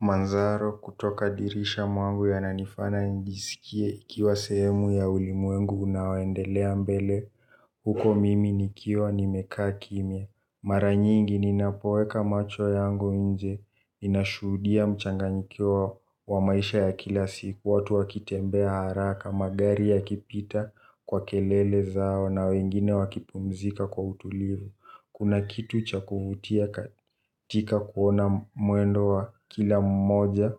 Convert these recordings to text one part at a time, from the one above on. Manzaro kutoka dirisha mwangu yananifana ijisikie ikiwa sehemu ya ulimwengu unaoendelea mbele. Huko mimi nikiwa nimekaa kimia. Maranyingi ninapoweka macho yangu inje. Inashuhudia mchanganyiko wa maisha ya kila siku watu wakitembea haraka. Magari ya kipita kwa kelele zao na wengine wakipumzika kwa utulivu. Kuna kitu cha kuvutia katika kuona mwendo wa kila mmoja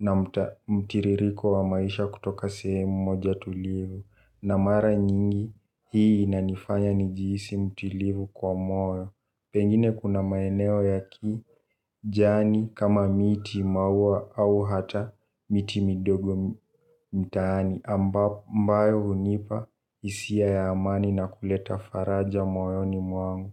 na mtiririko wa maisha kutoka sehemu moja tulivu. Na mara nyingi hii inanifanya nijiisi mtilivu kwa moyo. Pengine kuna maeneo ya ki jani kama miti maua au hata miti midogo mtaani ambayo hunipa isia ya amani na kuleta faraja moyo ni mwangu.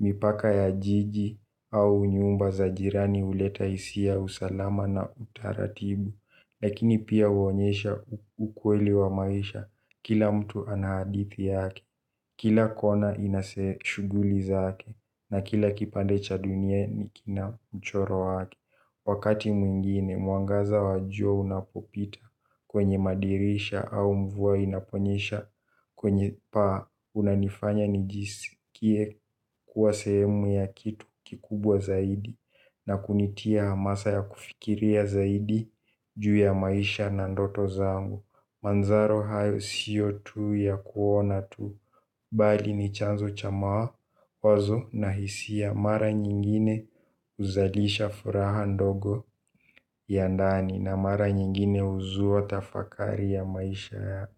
Mipaka ya jiji au nyumba za jirani uleta isia usalama na utaratibu. Lakini pia uonyesha ukweli wa maisha kila mtu ana hadithi yake. Kila kona inase shuguli zake na kila kipande cha dunia kina mchoro yake. Wakati mwingine mwangaza wa jua unapopita kwenye madirisha au mvua inaponyesha kwenye paa unanifanya nijisikie kuwa sehemu ya kitu kikubwa zaidi. Na kunitia masa ya kufikiria zaidi juu ya maisha na ndoto zangu Manzaro hayo sio tu ya kuona tu bali ni chanzo cha mawazo na hisia mara nyingine uzalisha furaha ndogo ya ndani na mara nyingine huzua tafakari ya maisha.